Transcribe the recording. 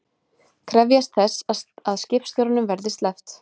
Krefjast þess að skipstjóranum verði sleppt